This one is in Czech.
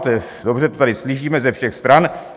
To je dobře, to tady slyšíme ze všech stran.